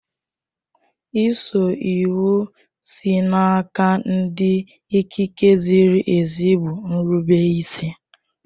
Ịso iwu sị n'aka ndị ikike ziri ezi bụ nrubeisi